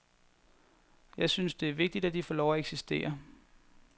Jeg synes, det er vigtigt, at de får lov at eksistere.